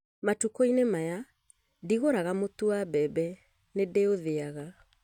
Matukũ-inĩ maya ndigũraga mũtu wa mbembe, nĩ ndĩũtheaga